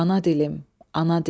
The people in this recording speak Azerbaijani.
Ana dilim, ana dilim.